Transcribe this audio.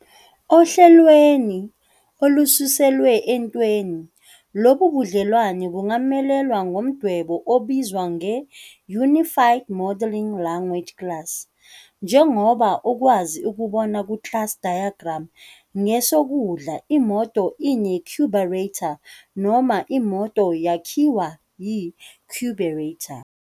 Ohlelweni olususelwe entweni lobu budlelwano bungamelelwa ngomdwebo obizwa nge-Unified Modeling Language Class. Njengoba ukwazi ukubona ku-Class Diagram kwesokudla imoto "ine-a" carburetor, noma imoto "yakhiwa" yi-carburetor.